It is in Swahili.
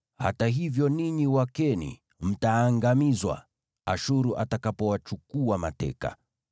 Hata hivyo ninyi Wakeni mtaangamizwa Ashuru atakapowachukua mateka.”